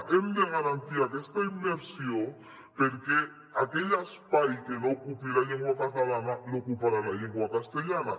hem de garantir aquesta immersió perquè aquell espai que no ocupi la llengua catalana l’ocuparà la llengua castellana